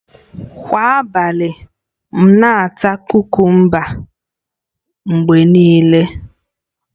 Kwa abalị, m na-ata kukumba mgbe niile